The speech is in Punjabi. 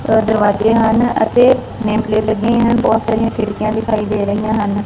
ਦੋ ਦਰਵਾਜੇ ਹਨ ਅਤੇ ਨੇਮ ਪਲੇਟ ਲੱਗੇ ਹਨ ਬਹੁਤ ਸਾਰੀਆਂ ਖਿੜਕੀਆਂ ਦਿਖਾਈ ਦੇ ਰਹੀਆਂ ਹਨ।